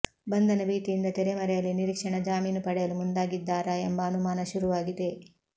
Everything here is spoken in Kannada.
ಬಂಧನ ಭೀತಿಯಿಂದ ತೆರೆಮರೆಯಲ್ಲಿ ನಿರೀಕ್ಷಣಾ ಜಾಮೀನು ಪಡೆಯಲು ಮುಂದಾಗಿದ್ದಾರಾ ಎಂಬ ಅನುಮಾನ ಶುರುವಾಗಿದೆ